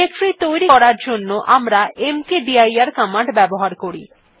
directory তৈরী করার জন্য আমরা মকদির কমান্ড ব্যবহার করি